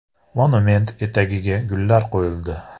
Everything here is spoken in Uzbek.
Monument etagiga gullar qo‘yildi.